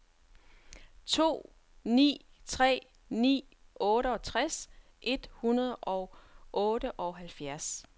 to ni tre ni otteogtres et hundrede og otteoghalvfjerds